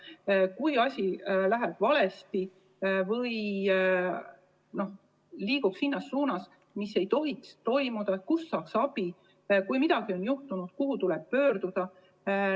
kui asi läheb valesti või liigub suunas, kuhu ei tohiks, siis kust saada abi, ja kui midagi on juhtunud, siis kuhu pöörduda.